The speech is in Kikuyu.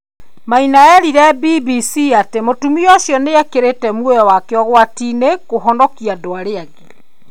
Maina eerire BBC atĩ mũtumia ũcio nĩ ĩkĩrĩte muoyo wake ũgwati-inĩ kũhonokia andũ arĩa angĩ.